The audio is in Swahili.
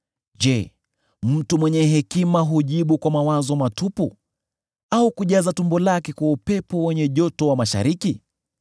“Je, mtu mwenye hekima hujibu kwa mawazo matupu, au kujaza tumbo lake kwa upepo wenye joto wa mashariki?